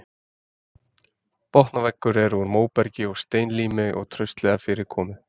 Botn og veggur voru úr móbergi og steinlími og traustlega fyrir komið.